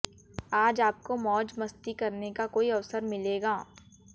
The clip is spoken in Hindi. आज आपको मौज मस्ती करने का कोई अवसर मिलेगा